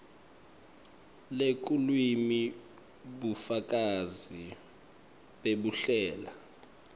lelulwimi bufakazi bekuhlela